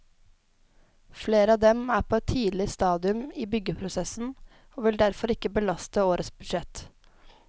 Flere av dem er på et tidlig stadium i byggeprosessen og vil derfor ikke belaste årets budsjett.